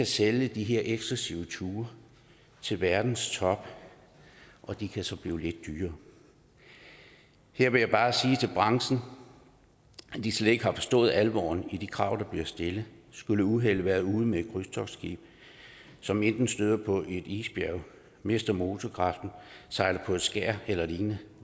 sælge de her eksklusive ture til verdens top de kan så blive lidt dyrere her vil jeg bare sige til branchen at de slet ikke har forstået alvoren i de krav der bliver stillet skulle uheldet være ude med et krydstogtskib som enten støder på et isbjerg mister motorkraften sejler på et skær eller lignende